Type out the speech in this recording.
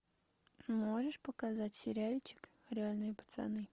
можешь показать сериальчик реальные пацаны